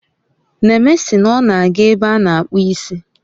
Neme sị na ọ na aga ebe a na akpu isi